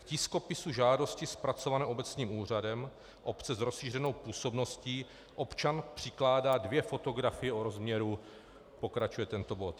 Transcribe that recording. K tiskopisu žádosti zpracované obecním úřadem obce s rozšířenou působností občan přikládá dvě fotografie o rozměru -" pokračuje tento bod.